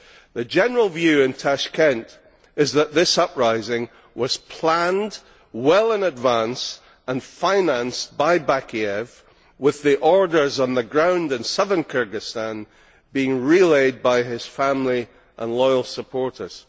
The general view in Tashkent is that this uprising was planned well in advance and financed by Bakiyev with the orders on the ground in southern Kyrgyzstan being relayed by his family and loyal supporters.